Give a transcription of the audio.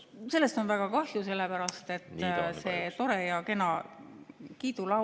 Sellest on väga kahju, sellepärast et see tore ja kena kiidulaul ...